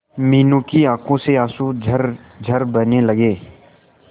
मीनू की आंखों से आंसू झरझर बहने लगे